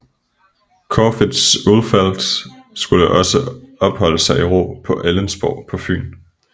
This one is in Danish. Corfitz Ulfeldt skulle også holde sig i ro på Ellensborg på Fyn